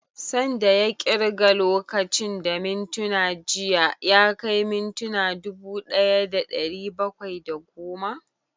San da ya ƙirga lokacin da mintuna jiya ya kai mintuna dubu ɗaya da ɗari bakwai da goma?